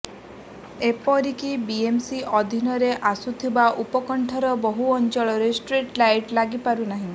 ଏପରିକି ବିଏମ୍ସି ଅଧୀନରେ ଆସୁଥିବା ଉପକଣ୍ଠର ବହୁ ଅଞ୍ଚଳରେ ଷ୍ଟ୍ରିଟ୍ ଲାଇଟ୍ ଲାଗିପାରୁନି